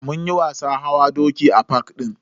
Munyi wasan hawa doki a fak din.